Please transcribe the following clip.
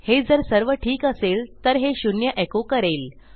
हे जर सर्व ठीक असेल तर हे शून्य एको करेल